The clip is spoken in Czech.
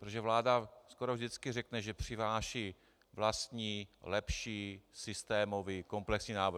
Protože vláda skoro vždycky řekne, že přináší vlastní lepší systémový komplexní návrh.